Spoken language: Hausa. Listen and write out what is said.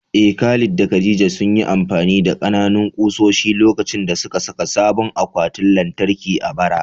Eh, Khalid da Khadija sun yi amfani da ƙananan ƙusoshi lokacin da suka saka sabon akwatin lantarki a bara.